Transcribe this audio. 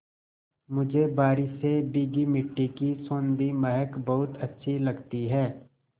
मुझे बारिश से भीगी मिट्टी की सौंधी महक बहुत अच्छी लगती है